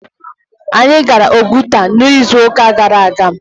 Anyị gara Oguta n'izu ụka gara aga.